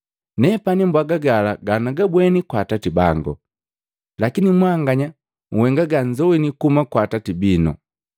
Nepani mbwaga gala ganagabweni kwa Atati bango, lakini mwanganya uhenga ganzowini kuhuma kwa atati bino.”